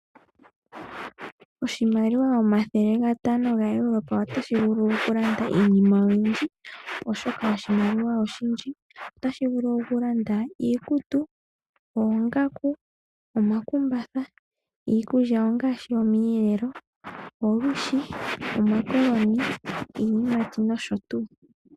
Oshimaliwa omathelegatano gaEurope otashi vulu okulanda iinima oyindji oshoka oshimaliwa oshindji. Otashi vulu okulanda iikutu, oongaku, omakumbatha, iikulya ngaashi omweelelo, olwiishi, omakoloni, iiyimati nosho tu.